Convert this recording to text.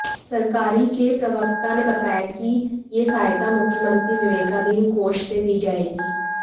सरकारी के प्रवक्ता ने बताया कि यह सहायता मुख्यमंत्री विवेकाधीन कोष से दी जाएगी